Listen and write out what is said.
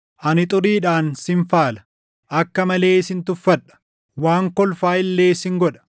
Ani xuriidhaan sin faala; akka malee sin tuffadha; waan kolfaa illee sin godha.